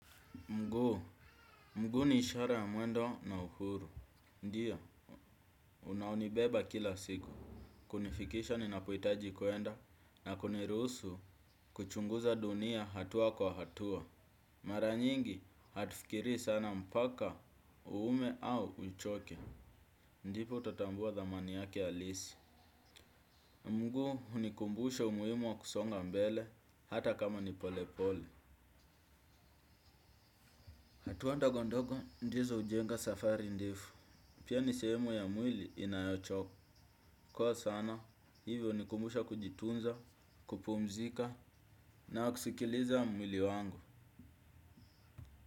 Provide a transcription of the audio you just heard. Mguu, mguu ni ishara ya mwendo na uhuru. Ndio, unaonibeba kila siku. Kunifikisha ninapohitaji kwenda na kuniruhusu kuchunguza dunia hatua kwa hatua. Mara nyingi, hatufikirii sana mpaka, uume au uchoke. Ndipo utatambua dhamani yake halisi. Mguu, hunikumbusha umuhimu wa kusonga mbele, hata kama ni polepole. Hatua ndogo ndogo, ndizo hujenga safari ndefu. Pia ni sehemu ya mwili inayochoka. Kwa sana, hivyo hunikumbusha kujitunza, kupumzika na kusikiliza mwili wangu.